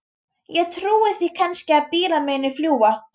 Ég trúi því kannski að bílar muni fljúga.